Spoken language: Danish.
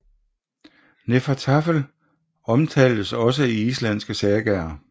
Hnefatafl omtaltes også i islandske sagaer